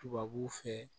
Tubabuw fɛ